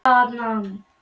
Elba, hvað er klukkan?